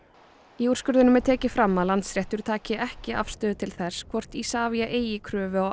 í úrskurðinum er tekið fram að Landsréttur taki ekki afstöðu til þess hvort Isavia eigi kröfu á